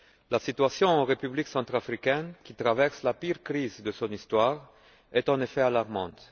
La situation en République centrafricaine, qui traverse la pire crise de son histoire, est en effet alarmante.